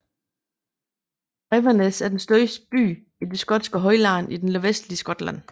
Inverness er den største by i det skotske højland i det nordvestlige Skotland